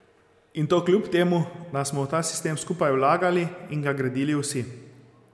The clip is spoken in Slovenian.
In to kljub temu, da smo v ta sistem skupaj vlagali in ga gradili vsi.